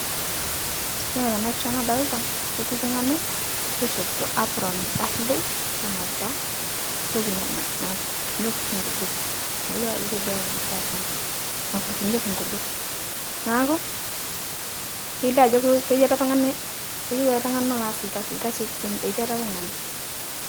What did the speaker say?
Yuolo tana pisha nadolita, ketii ltung'ani loishopito apron darilei, nenapita ntoki nana nakurtunyeki shii nkujit, mayulo ajo kejuai tekutuk esamburr nakurtunyeki nkujit naaku kelio ajo kulo keti tunga'ani keyeu ale tung'ani nolo aas lkasi, lkasi etii ale tung'ani.